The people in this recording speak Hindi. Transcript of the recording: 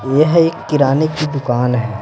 यह एक किराने की दुकान है।